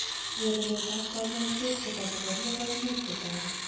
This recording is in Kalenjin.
nyorunet ab kanyoiset kotakokoria koimuch Kotoret